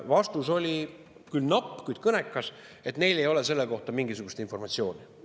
Vastus oli küll napp, kuid kõnekas, et neil ei ole selle kohta mingisugust informatsiooni.